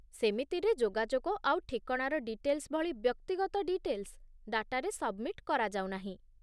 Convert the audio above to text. ସେମିତିରେ ଯୋଗାଯୋଗ ଆଉ ଠିକଣାର ଡିଟେଲ୍ସ ଭଳି ବ୍ୟକ୍ତିଗତ ଡିଟେଲ୍ସ ଡାଟାରେ ସବ୍‌ମିଟ୍ କରାଯାଉନାହିଁ ।